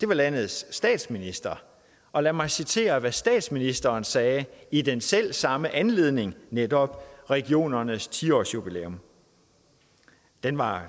landets statsminister og lad mig citere hvad statsministeren sagde i den selv samme anledning netop regionernes ti årsjubilæum den var